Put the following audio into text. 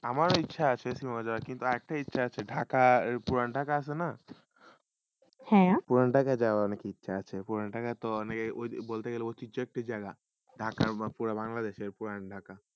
আমার ইটচা আসে একটা ইটচা আসে কি ঢাকা পুরন্তক আসে না হয়ে পুরন্তক যাব আমি বাংলাদেশের পুরাণ ঢাকা